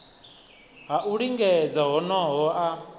ha u lingedza honoho a